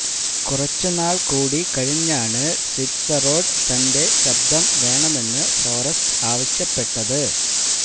കുറച്ചുനാള് കൂടി കഴിഞ്ഞാണ് സ്വീറ്റ്സറോഡ് തന്റെ ശബ്ദം വേണമെന്ന് ഫോറസ്റ്റ് ആവശ്യപ്പെട്ടത്